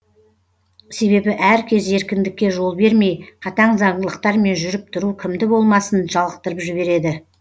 себебі әркез еркіндікке жол бермей қатаң заңдылықтармен жүріп тұру кімді болмасын жалықтырып жібереді